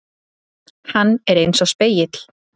Hann er einsog spegill.